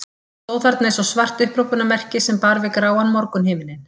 Hann stóð þarna eins og svart upphrópunarmerki sem bar við gráan morgunhimininn.